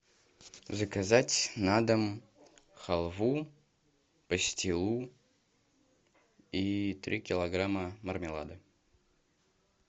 заказать на дом халву пастилу и три килограмма мармелада